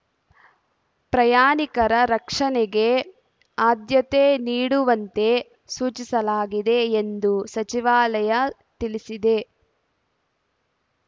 ಪ್ರಯಾಣಿಕರ ರಕ್ಷಣೆಗೆ ಆದ್ಯತೆ ನೀಡುವಂತೆ ಸೂಚಿಸಲಾಗಿದೆ ಎಂದು ಸಚಿವಾಲಯ ತಿಳಿಸಿದೆ